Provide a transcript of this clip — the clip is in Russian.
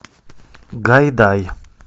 гайдай